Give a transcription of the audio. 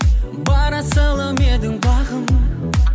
бар асылым едің бағым